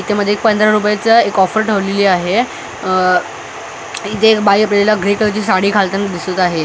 त्या मध्ये पंधरा रुपयाची एक ऑफर ठेवलेली आहे आह इथे एक बाई आपल्याला ग्रे कलरची साडी घालताना दिसत आहे.